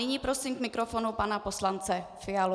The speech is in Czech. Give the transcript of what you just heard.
Nyní prosím k mikrofonu pana poslance Fialu.